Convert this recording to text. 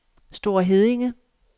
Store Heddinge